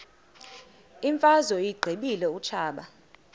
imfazwe uyiqibile utshaba